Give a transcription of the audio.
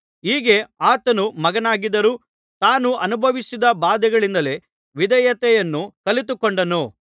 ಹೀಗೆ ಆತನು ಮಗನಾಗಿದ್ದರೂ ತಾನು ಅನುಭವಿಸಿದ ಬಾಧೆಗಳಿಂದಲೇ ವಿಧೇಯತೆಯನ್ನು ಕಲಿತುಕೊಂಡನು